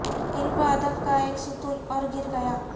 علم و ادب کا ایک ستون اور گر گیا